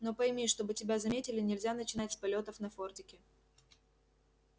но пойми чтобы тебя заметили нельзя начинать с полётов на фордике